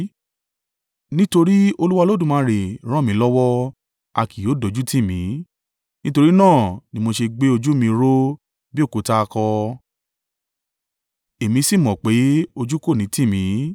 Nítorí Olúwa Olódùmarè ràn mí lọ́wọ́, a kì yóò dójútì mí. Nítorí náà ni mo ṣe gbé ojú mi ró bí òkúta akọ èmi sì mọ pé, ojú kò ní tì mí.